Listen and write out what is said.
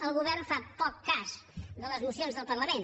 el govern fa poc cas de les mocions del parlament